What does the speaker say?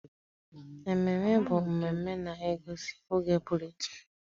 Ememe bụ mmemme na-egosi oge pụrụ iche.